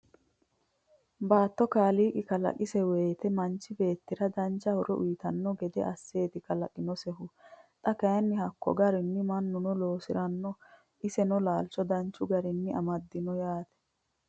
Batto kaaliqi kalaqise woyiitte manchi beettira dancha horo uyiittanno gede aseetti kalaqinosehu . Xa Kay hakko garinni manunno loosirinno isenno laalicho danchu garinni amadinno yaatte